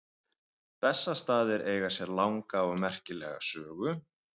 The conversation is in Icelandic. Bessastaðir eiga sér langa og merkilega sögu.